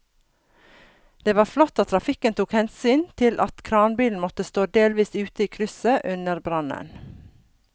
Det var flott at trafikken tok hensyn til at kranbilen måtte stå delvis ute i krysset under brannen.